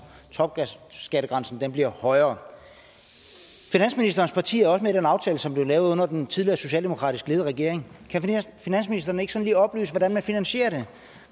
topskattegrænsen bliver højere finansministerens parti er også med i den aftale som blev lavet under den tidligere socialdemokratisk ledede regering kan finansministeren ikke sådan lige oplyse hvordan man finansierer det